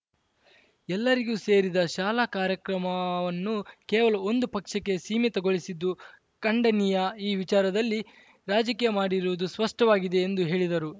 ಎಲ್ಲರಿಗೂ ಸೇರಿದ ಶಾಲಾ ಕಾರ್ಯಕ್ರವನ್ನು ಕೇವಲ ಒಂದು ಪಕ್ಷಕ್ಕೆ ಸೀಮಿತಗೊಳಿಸಿದ್ದು ಖಂಡನೀಯ ಈ ವಿಚಾರದಲ್ಲಿ ರಾಜಕೀಯ ಮಾಡಿರುವುದು ಸ್ಪಷ್ಟವಾಗಿದೆ ಎಂದು ಹೇಳಿದರು